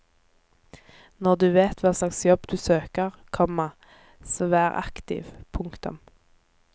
Når du vet hva slags jobb du søker, komma så vær aktiv. punktum